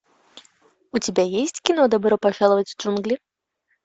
у тебя есть кино добро пожаловать в джунгли